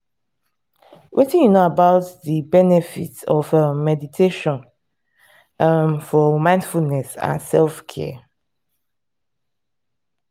wetin you know about di um benefits of um meditation um for mindfulness and self-care?